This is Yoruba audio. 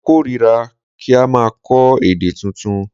Mo kórira ki n maa kó̩ èdè tuntun